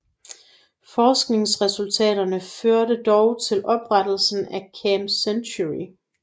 Forskningsresultaterne førte dog til oprettelse af Camp Century